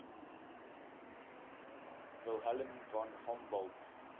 wilhelm von humboldt